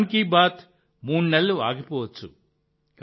మన్ కీ బాత్ మూడు నెలలు ఆగిపోవచ్చు